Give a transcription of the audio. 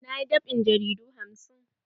Na yi dab'in jaridu hamsin.